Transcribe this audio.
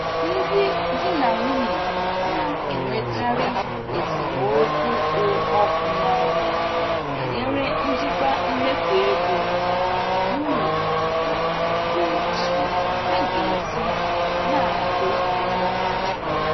Ndị di na nwunye na-enwekarị esemokwu kpụ ọkụ n'ọnụ banyere njikwa mmefu ego n'ụlọ nakwa otú ha ga-esi na-akwụ ụgwọ ha ji.